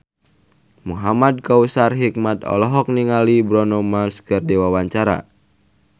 Muhamad Kautsar Hikmat olohok ningali Bruno Mars keur diwawancara